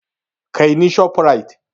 Kai ni Shoprite!